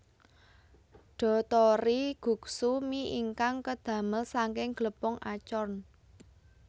Dotori guksu mi ingkang kadamel saking glepung acorn